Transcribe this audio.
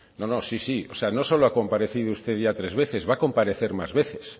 no no sí sí o sea no solo ha comparecido usted ya tres veces va a comparecer más veces